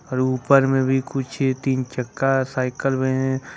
और ऊपर में भी कुछ है तीन चक्का साइकल में है।